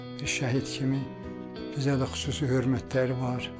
Bir şəhid kimi bizə də xüsusi hörmətləri var.